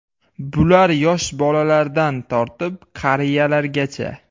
Bular yosh bolalardan tortib qariyalargacha.